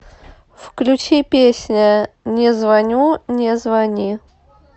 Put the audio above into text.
включи песня не звоню не звони